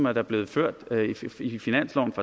er blevet ført i finanslovene